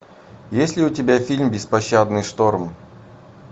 есть ли у тебя фильм беспощадный шторм